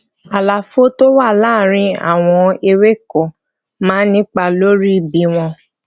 àlàfo tó wà láàárín àwọn ewéko máa ń nípa lórí bí wón